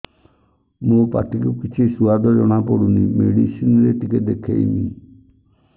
ମୋ ପାଟି କୁ କିଛି ସୁଆଦ ଜଣାପଡ଼ୁନି ମେଡିସିନ ରେ ଟିକେ ଦେଖେଇମି